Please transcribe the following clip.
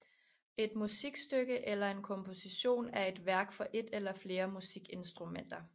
Et musikstykke eller en komposition er et værk for et eller flere musikinstrumenter